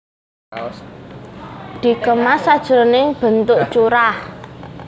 Dikemas sajroné bentuk curah